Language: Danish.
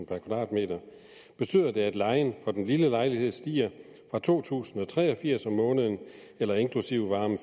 per kvadratmeter betyder det at lejen for den lille lejlighed stiger fra to tusind og tre og firs kroner om måneden eller inklusiv varme